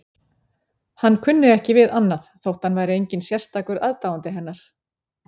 Hann kunni ekki við annað þótt hann væri enginn sérstakur aðdáandi hennar.